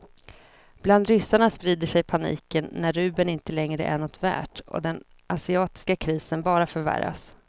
Bland ryssarna sprider sig paniken när rubeln inte längre är något värd och den asiatiska krisen bara förvärras.